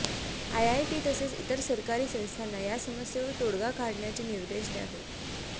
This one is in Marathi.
आयआयटी तसेच इतर सरकारी संस्थांना या समस्येवर तोडगा काढण्याचे निर्देश द्यावे